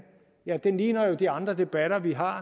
ja den ligner jo de andre debatter vi har